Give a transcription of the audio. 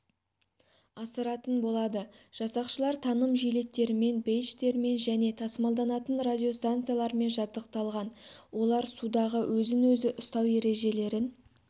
асыратын болады жасақшылар таным жилеттерімен бейджтермен және тасымалданатын радиостанциялармен жабдықталған олар судағы өзін-өзі ұстау ережелерін